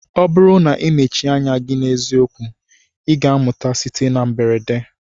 Ọ bụrụ na ị mechie anya gị na eziokwu, ị ga-amụta site na mberede.